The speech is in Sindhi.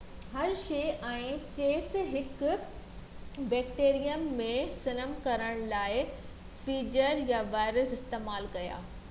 هرشي ۽ چيس هڪ بيڪٽيريم ۾ ضم ڪرڻ لاءِ فيجز يا وائرس استعمال ڪيا